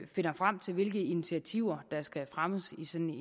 finder frem til hvilke initiativer der skal fremmes